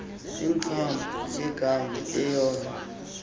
ingcambu yegama eyona